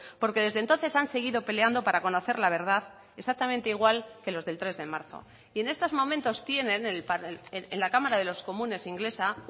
porque desde entonces han seguido peleando para conocer la verdad exactamente igual que los del tres de marzo y en estos momentos tienen en la cámara de los comunes inglesa